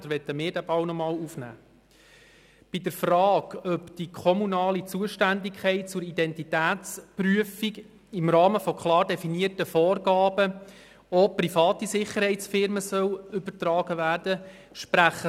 Vier von fünf Gemeinden in unserem Kanton sprechen sich dafür aus, dass die kommunale Zuständigkeit für eine Identitätsprüfung im Rahmen von klar definierten Vorgaben auch auf private Sicherheitsfirmen übertragen werden soll.